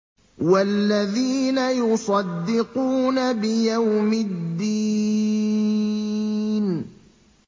وَالَّذِينَ يُصَدِّقُونَ بِيَوْمِ الدِّينِ